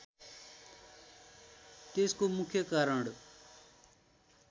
त्यसको मुख्य कारण